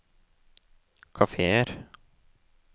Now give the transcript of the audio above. kafeer